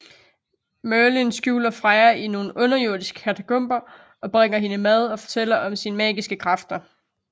Merlin skjuler Freya i nogle underjordiske katakomber og bringer hende mad og fortæller om sine magiske kræfter